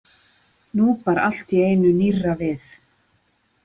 Nú bar allt í einu nýrra við.